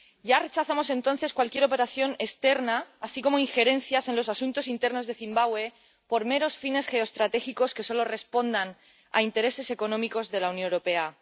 Ya rechazamos entonces cualquier operación externa, así como injerencias en los asuntos internos de Zimbabue por meros fines geoestratégicos que solo respondan a intereses económicos de la Unión Europea.